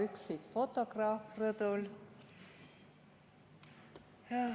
Hea üksik fotograaf rõdul!